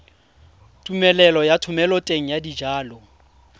tumelelo ya thomeloteng ya dijalo